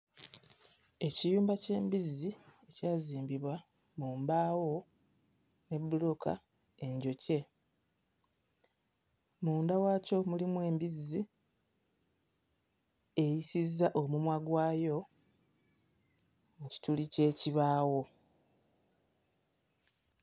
Ekiyumba ky'embizzi kyazimbibwa mu mbaawo ne mu bbulooka enjokye. Munda waakyo mulimu embizzi eyisizza omumwa gwayo mu kituli ky'ekibaawo.